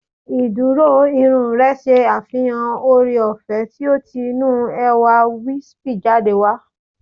Ìdúró irun rẹ ṣe àfihàn ooreọ̀fẹ́ tí ó ti inú ẹwà wispy jáde